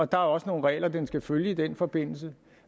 der er også nogle regler den skal følge i den forbindelse